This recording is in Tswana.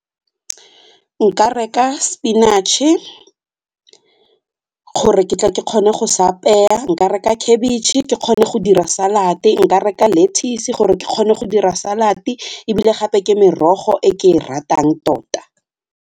Nka reka spinach-e gore ke tle ke kgone go se apeya, nka reka khabitšhe ke kgone go dira salad-e, nka reka lettuce gore ke kgone go dira salad-e ebile gape ke merogo e ke e ratang tota.